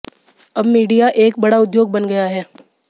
अब मीडिया एक बड़ा उद्योग बन गया है